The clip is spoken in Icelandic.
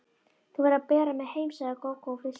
Þú verður að bera mig heim, sagði Gógó og flissaði.